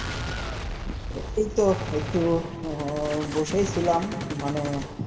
এই তো একটু হম বসেই ছিলাম মানে,